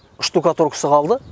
штукатуркасы қалды